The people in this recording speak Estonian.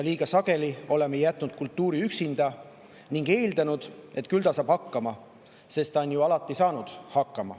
Liiga sageli oleme jätnud kultuuri üksinda ning eeldanud, et küll ta saab hakkama, sest ta on ju alati hakkama saanud.